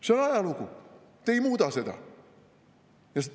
See on ajalugu, te ei muuda seda.